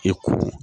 I ko